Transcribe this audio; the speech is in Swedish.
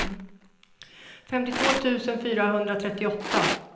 femtiotvå tusen fyrahundratrettioåtta